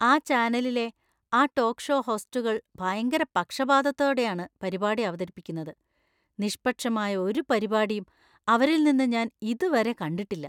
ആ ചാനലിലെ ആ ടോക്ക് ഷോ ഹോസ്റ്റുകൾ ഭയങ്കര പക്ഷപാതത്തോടെയാണ് പരിപാടി അവതരിപ്പിക്കുന്നത്; നിഷ്‌പക്ഷമായ ഒരു പരിപാടിയും അവരിൽ നിന്ന് ഞാൻ ഇതുവരെ കണ്ടിട്ടില്ല.